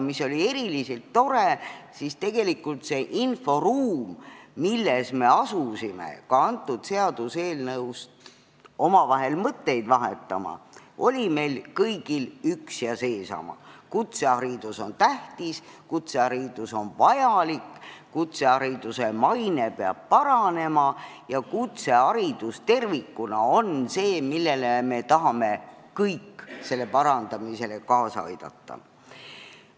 Eriliselt tore oli, et see inforuum, milles me asusime – seda ka selle seaduseelnõu puhul – omavahel mõtteid vahetama, oli meil kõigil üks ja seesama: kutseharidus on tähtis, kutseharidus on vajalik, kutsehariduse maine peab paranema ja kutseharidus tervikuna on see, mille parandamisele me tahame kõik kaasa aidata.